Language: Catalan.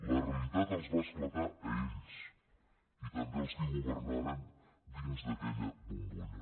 la realitat els va esclatar a ells i també als qui governaren dins d’aquella bombolla